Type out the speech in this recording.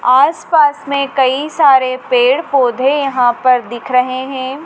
आस पास में कई सारे पेड़ पौधे यहां पर दिख रहे हैं।